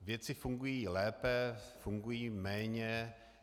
Věci fungují lépe, fungují méně.